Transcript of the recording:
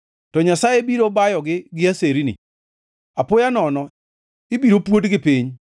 To Nyasaye biro bayogi gi aserni; apoya nono, ibiro puodgi piny.